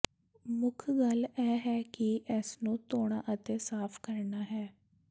ਮੁੱਖ ਗੱਲ ਇਹ ਹੈ ਕਿ ਇਸਨੂੰ ਧੋਣਾ ਅਤੇ ਸਾਫ਼ ਕਰਨਾ ਹੈ